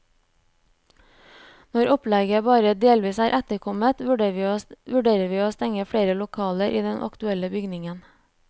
Når pålegget bare delvis er etterkommet, vurderer vi å stenge flere lokaler i den aktuelle bygningen.